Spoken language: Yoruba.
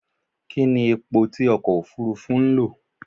Kí ní epo tí okò Òfurufú ń lò?